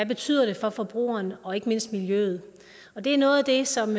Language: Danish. betyder for forbrugerne og ikke mindst miljøet det er noget af det som